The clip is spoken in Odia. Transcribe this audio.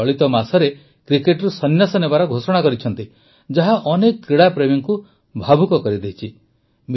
ସେ ଚଳିତ ମାସରେ କ୍ରିକେଟରୁ ସନ୍ନ୍ୟାସ ନେବାର ଘୋଷଣା କରିଛନ୍ତି ଯାହା ଅନେକ କ୍ରୀଡ଼ାପ୍ରେମୀଙ୍କୁ ଭାବୁକ କରିଦେଇଛି